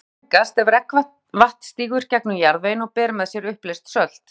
grunnvatnið mengast ef regnvatn sígur gegnum jarðveginn og ber með sér uppleyst sölt